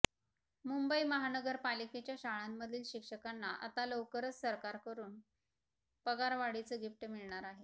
मुंबई महानगरपालिकेच्या शाळांमधील शिक्षकांना आता लवकरच सरकारकडून पगारवाढीचं गिफ्ट मिळणार आहे